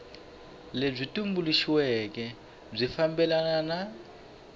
lebyi tumbuluxiweke byi fambelana na